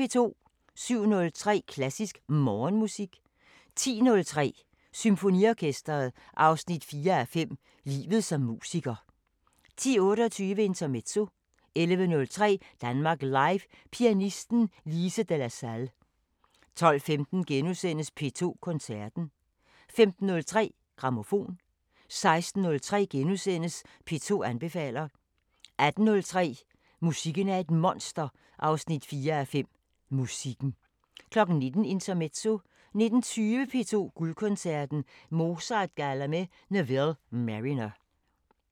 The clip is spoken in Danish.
07:03: Klassisk Morgenmusik 10:03: Symfoniorkesteret 4:5 – Livet som musiker 10:28: Intermezzo 11:03: Danmark Live – Pianisten Lise de la Salle 12:15: P2 Koncerten * 15:03: Grammofon 16:03: P2 anbefaler * 18:03: Musikken er et monster 4:5 – Musikken 19:00: Intermezzo 19:20: P2 Guldkoncerten: Mozart-galla med Neville Marriner